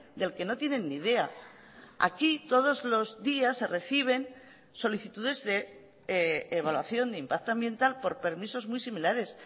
del que no tienen ni idea aquí todos los días se reciben solicitudes de evaluación de impacto ambiental por permisos muy similares